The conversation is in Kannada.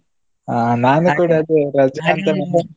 ಹಾ ನಾನು ಅದು .